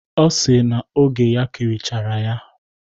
Ọ sịrị na oge ya kirichara ya.